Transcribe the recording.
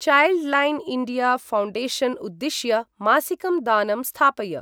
Childline India Foundation उद्दिश्य मासिकं दानं स्थापय।